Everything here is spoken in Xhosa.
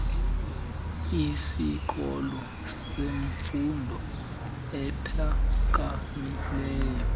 isikolo semfundo ephakamileyo